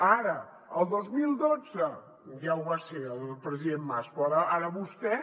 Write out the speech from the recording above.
ara el dos mil dotze ja ho va ser el president mas però ara vostè